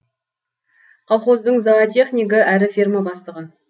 колхоздың зоотехнигі әрі ферма бастығы